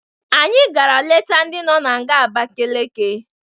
Anyị gara leta ndị nọ na nga Abakaleke.